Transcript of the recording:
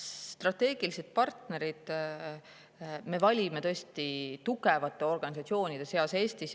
Strateegilised partnerid me valime tõesti tugevate organisatsioonide seast Eestis.